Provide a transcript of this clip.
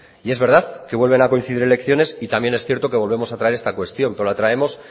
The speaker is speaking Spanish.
y es verdad que vuelven a coincidir elecciones y también es cierto que volvemos a traer esta cuestión pero la traemos